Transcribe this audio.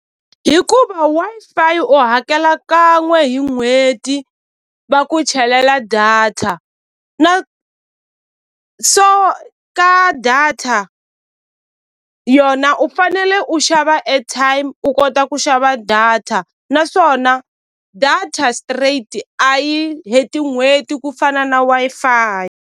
Hikuva Wi-Fi u hakela kan'we hi n'hweti va ku chelela data na so ka data yona u fanele u xava airtime u kota ku xava data naswona data straight a yi heti n'hweti ku fana na Wi-Fi.